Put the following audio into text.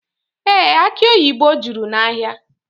Ee, aki oyibo juru n'ahịa.